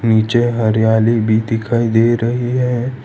नीचे हरियाली भी दिखाई दे रही है।